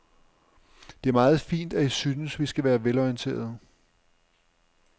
Det er meget fint, at I synes, vi skal være velorienterede.